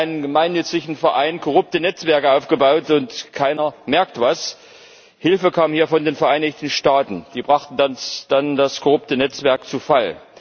Da werden in einem gemeinnützigen Verein korrupte Netzwerke aufgebaut, und keiner merkt etwas. Hilfe kam hier von den Vereinigten Staaten, die brachten dann das korrupte Netzwerk zu Fall.